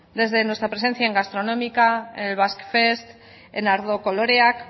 desde nuestra presencia en gastronómica en el basque fest en ardo koloreak